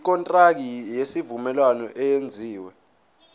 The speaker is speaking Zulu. ikontraki yesivumelwano eyenziwe